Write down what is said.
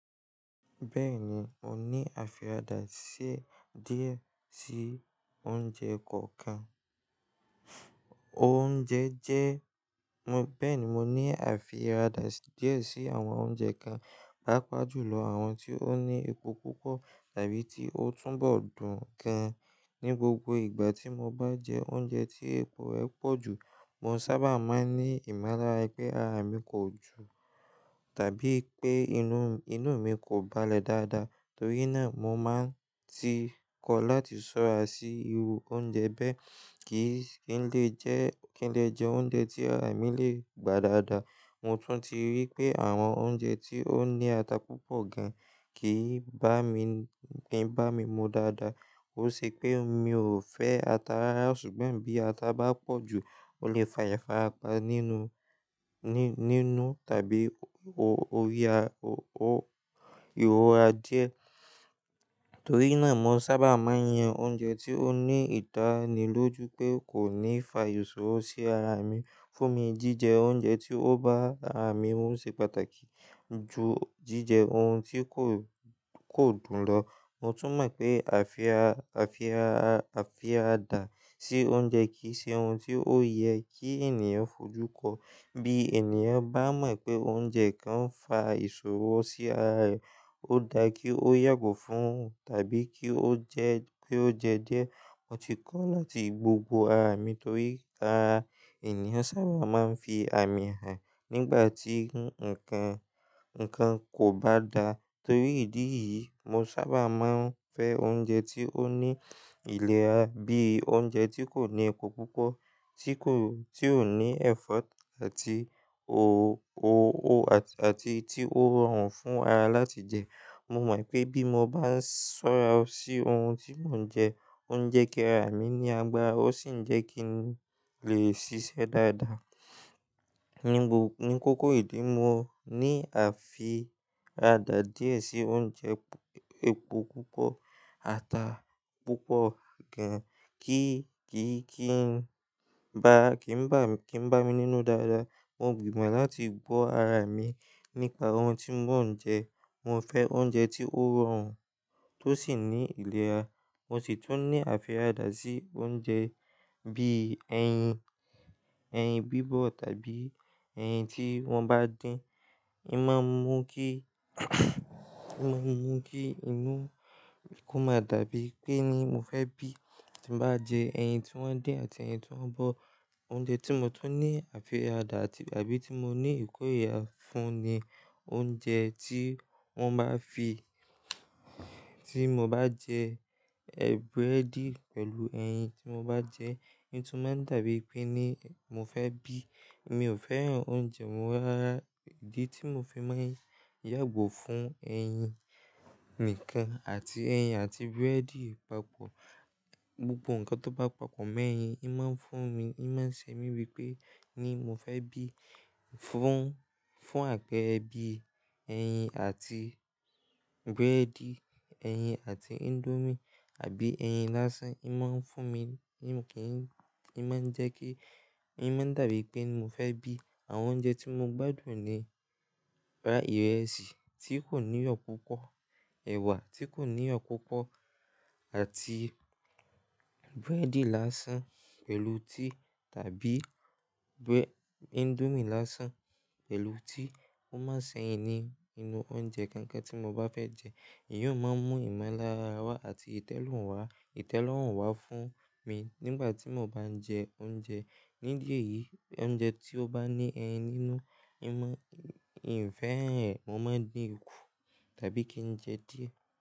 Bẹ́ẹ̀ni, mo ní àfiradà díẹ̀ sí oúnjẹ kọ̀ọ̀kan. Oúnjẹ jẹ́-- bẹ́ẹ̀ni, mo ní àfiràdà díẹ̀ sí àwọn oúnjẹ kan, pàápàá jùlọ àwọn tí ó ní epo púpọ̀ tàbí tí ó túnbọ̀ dùn gan. Ni gbogbo ìgbà tí mo bá jẹ oúnjẹ tí epo ẹ̀ pọ̀ jù, mo sábà máa ń ní ìmọ̀lára pé ara mi kò dùn tàbí pé inú, inú mi kò balẹ̀ dáadáa. Torí náà, mo máa ń ti kọ̀ láti ṣọ́ra sí irú oúnjẹ bẹ́ẹ̀ kí n lè jẹ́, kí n lè jẹ oúnjẹ tí ara mi lè gbà dáadáa. Mo tún ti rí pé àwọn oúnjẹ tí ó ní ata púpọ̀ gan kìí bá mi, kìí bá mi mu dáadáa. Ó ṣe pé mi ò fẹ́ ata rara, ṣùgbọ́n bí ata bá pọ̀ jù, ó lè fa ìfara pa nínú, ní, nínú tàbí orí ara, ọwọ́, ìròra díẹ̀. Torí náà, mo sábà máa ń yan oúnjẹ tí ó ní ìdánilójú pé kò ní fa ìṣòro sí ara mi. Fún mi, jíjẹ oúnjẹ tí ó bá ara mi mu ṣe pàtàkì ju jíjẹ ohun tí kò, kò dùn lọ. Mo tún mọ̀ pé àfiàradà, àfiàradà, àfiàradà sí oúnjẹ kì í ṣe ohun tí ó yẹ kí ènìyàn fojú kọ. Bí ènìyàn bá mọ̀ pé oúnjẹ kan ń fa ìṣòro sí ara rẹ̀, ó da kí ó yàgò fún tàbí kí ó jẹ́, kí ó je díẹ̀ mo ti kọ́ láti gbógbo ara mi torí ara ènìyàn sábà na ń fi àmì hàn, nígbà tí nkan kobá da, torí idi yi, mo sábà ma ń fẹ́ oúnjẹ tí ó ní ìlera bíi oúnjẹ ti ko ni epò púpọ̀ ti ko tio ni èfo àti ti o rọrùn fún ara láti je. Mo mo wípé bí mo bá ń sora sì ohun tí mò ńje o ńje ki ara mi ní àgbàra o sí n jẹ ki n le sise dáadáa ni kukuru ìdí mo ni afi a da díẹ̀ si oúnjẹ epò púpọ̀ ata púpọ̀ kí, í máa ń mú kí inú mi kó máa dàbí pé ni mo fẹ́ bí. Kí nbá mi nínú dáadáa mo gbimo láti gbo ara mí nípa ohun tí mò ńje, mo fẹ oúnjẹ ti o rọrùn to si ni iléra, mo so tún ni afirada si oúnjẹ jẹ tàbí eyin tí wọ́n bá din hiń ma ńmu ki inú kó máa dábí ẹni pé mo fẹ bí ti nbá je eyin ti wọ́n din àti èyí tí won bó, oúnjẹ ti mo tún ni afirada àbí ti mo ni ìkórìíra fún ni oúnjẹ tí wọ́n bá fi-- tí mo bá jẹ búrẹ́dì pẹ̀lú ẹyin tí mo bá jẹ. Hiń tún máa ń dàbí pé ni mo fẹ́ bí. Mi ò fẹ́ran oúnjẹ wọ́n rara. Ìdí tí mo fi máa ń yàgò fún ẹyin nìkan àti ẹyin àti búrẹ́dì papọ̀. Gbogbo nǹkan tó bá papọ̀ mọ́ ẹyin, í máa ń fún mi, í máa ń ṣe mí bí pé ni mo fẹ́ bí. Fún, fún àpẹẹrẹ bí, ẹyin àti búrẹ́dì, ẹyin àti índómì àbí ẹyin lásán. Í máa ń fún mi, í kì í, í máa ń jẹ́ kí, í máa ń dàbí pé ni mo fẹ́ bí. Àwọn oúnjẹ tí mo gbádùn ni ìrẹsì tí kò ní iyọ́ púpọ̀, ẹ̀wà tí kò ní iyọ̀ púpọ̀ àti búrẹ́dì lásán pẹ̀lú tíì tàbí búrẹ́-- índómì lásán pẹ̀lú tíì. Kó máa ṣẹ́yin ní inú oúnjẹ kankan tí mo bá fẹ́ jẹ. Èyí ó máa ń mú ìmọ̀lára wá àti ìtẹ́lọ́rùn wá, ìtẹ́lọ́rùn wá fún mi nígbà tí mo bá ń jẹ oúnjẹ. Nídi èyìí, oúnjẹ tí ó bá ní ẹyin nínú, ì má, ì ń fẹ́ ẹyin. Mo máa ń dín ikù tàbí kí n jẹ díẹ̀.